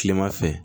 Kilema fɛ